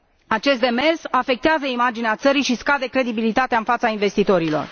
Acest demers afectează imaginea țării și scade credibilitatea în fața investitorilor.